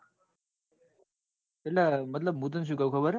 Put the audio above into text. એટલે મતલબ હું તને શું કઉં ખબર?